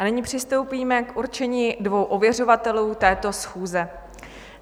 A nyní přistoupíme k určení dvou ověřovatelů této schůze.